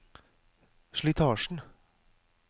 slitasjen